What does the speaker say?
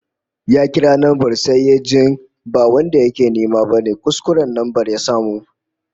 Ya kira lambar sai yajin ba wanda yake nema bane, kuskuren lambar ya samu